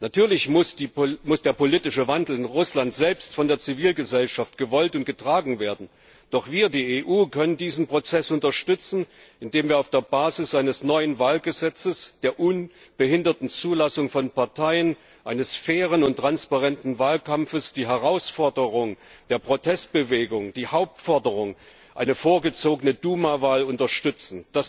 Natürlich muss der politische Wandel in Russland selbst von der Zivilgesellschaft gewollt und getragen werden, doch wir, die EU, können diesen Prozess unterstützen, indem wir auf der Basis eines neuen Wahlgesetzes, der unbehinderten Zulassung von Parteien und eines fairen und transparenten Wahlkampfes die Herausforderung der Protestbewegung, ihre Hauptforderung einer vorgezogenen Duma Wahl unterstützen.